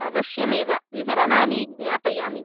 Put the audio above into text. अवश्यमेव विवरणानि ज्ञापयामि।